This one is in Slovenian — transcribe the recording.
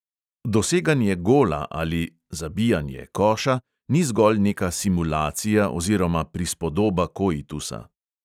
Doseganje gola ali koša ni zgolj neka simulacija oziroma prispodoba koitusa.